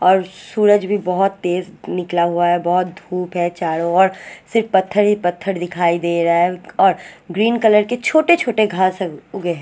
और सूरज भी बोहोत तेज निकला हुआ है बोहोत धुप है चारो और सिर्फ पत्थर ही पत्थर दिखाई दे रहा है और ग्रीन कलर के छोटे छोटे घास उगे है ।